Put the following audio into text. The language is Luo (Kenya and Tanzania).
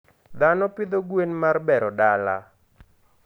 Dhano pidho gwen mar bero dala.